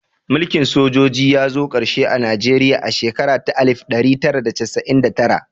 Mulkin sojoji ya zo ƙarshe a Najeriya a shekara ta alif ɗari tara da casa'in da tara